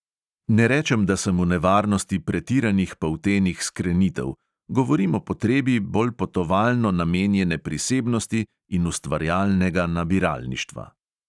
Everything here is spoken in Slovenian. Ne rečem, da sem v nevarnosti pretiranih poltenih skrenitev, govorim o potrebi bolj potovalno namenjene prisebnosti in ustvarjalnega nabiralništva.